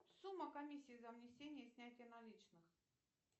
сумма комиссии за внесение и снятие наличных